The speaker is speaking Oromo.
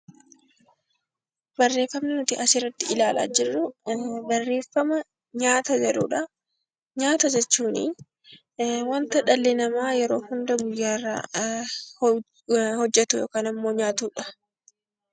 Barreeffamni asirratti ilaalaa jirru, barreeffama nyaata jedhudhaa. nyaata jechuun waanta dhalli namaa guyyaa guyyaan hojjetu yookaan nyaatudha.